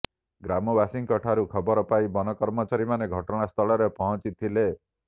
ଗ୍ରାମବାସୀଙ୍କ ଠାରୁ ଖବର ପାଇ ବନ କର୍ମଚାରୀମାନେ ଘଟଣାସ୍ଥଳରେ ପହଁଚିଥିଲେ